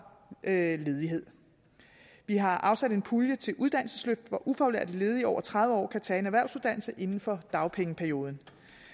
ledighed vi har afsat en pulje til uddannelsesløft hvor ufaglærte ledige over tredive år kan tage en erhvervsuddannelse inden for dagpengeperioden